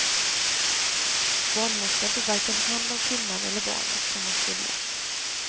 Barnmorskan tog varken hand om kvinnan eller barnet som hon skulle.